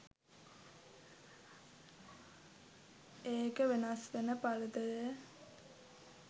එක වෙනස්වෙන පරතරය